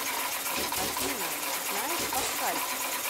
афина знаешь паскаль